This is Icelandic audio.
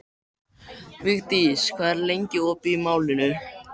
Vigdís, hvað er lengi opið í Málinu?